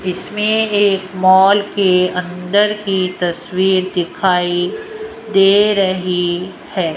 इसमें एक मॉल के अंदर की तस्वीर दिखाई दे रही है।